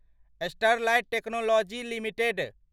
Sterlite technologies limited